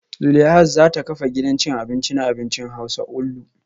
Zuleihat za ta kafa gidan cin abinci na abincin hausa onlu